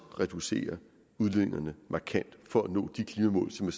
reducere udledningerne markant for at nå de klimamål som